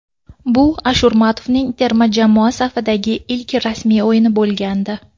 Bu Ashurmatovning terma jamoa safidagi ilk rasmiy o‘yini bo‘lgandi.